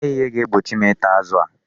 O nweghị ihe ga-egbochi m ịta azụ a.